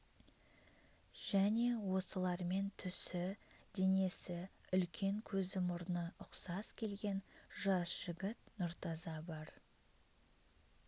және осылармен түсі денесі үлкен көзі мұрны ұқсас келген жас жігіт нұртаза бар